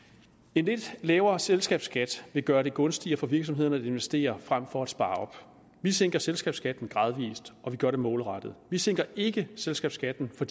en lidt lavere selskabsskat vil gøre det gunstigere for virksomhederne at investere frem for at spare op vi sænker selskabsskatten gradvis og vi gør det målrettet vi sænker ikke selskabsskatten for